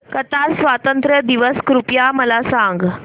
Qatar स्वातंत्र्य दिवस कृपया मला सांगा